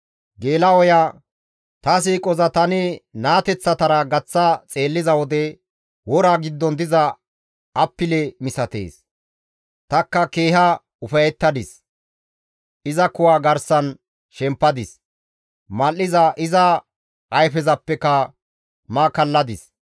«Ta siiqoza tani naateththatara gaththa xeelliza wode, wora giddon diza appile misatees; tanikka keeha ufayettadis; tani iza kuwa garsan shempadis; mal7iza iza ayfezapeka ma kalladis.